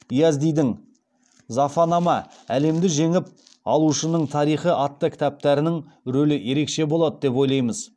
йаздидің зафанама атты кітаптарының рөлі ерекше болады деп ойлаймыз